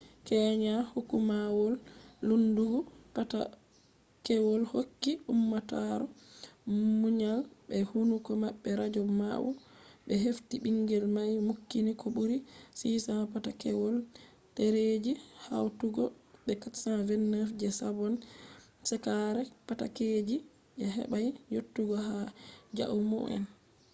kenya hukumawol lendugo patakewol hokki ummatore muyal be hukuma radio bawo be hefti bingel mai nukkini ko buri 600 patakewol dereji hautugo be 429 je sabon shekara patakeji, je hebai yottugo ha jaumu’en